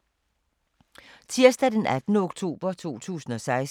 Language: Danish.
Tirsdag d. 18. oktober 2016